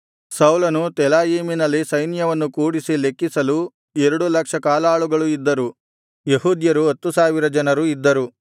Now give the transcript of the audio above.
ಸೌಲನು ತೆಲಾಯೀಮಿನಲ್ಲಿ ಸೈನ್ಯವನ್ನು ಕೂಡಿಸಿ ಲೆಕ್ಕಿಸಲು ಎರಡು ಲಕ್ಷ ಕಾಲಾಳುಗಳು ಇದ್ದರು ಯೆಹೂದ್ಯರು ಹತ್ತು ಸಾವಿರ ಜನರು ಇದ್ದರು